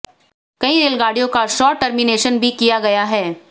कई रेलगाड़ियों का शार्ट टर्मिनेशन भी किया गया है